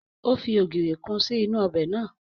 Ó fi ogiri kun sí inú ọbẹ̀ naa